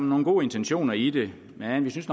nogle gode intentioner i det men vi synes